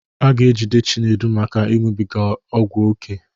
A ga-ejide Chinedu maka ịnụbiga ọgwụ oké.